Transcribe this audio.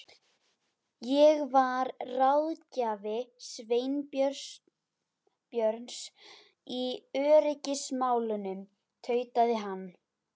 Ég var ráðgjafi Sveinbjörns í öryggismálum- tautaði hann.